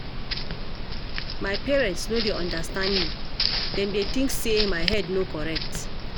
My parents no dey understand me, dem dey think say my head no correct.